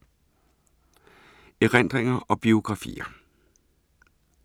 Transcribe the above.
Erindringer og biografier